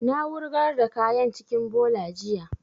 Na wurgar da kayan cikin bola jiya